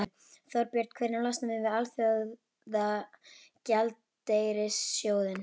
Þorbjörn: Hvenær losnum við við Alþjóðagjaldeyrissjóðinn?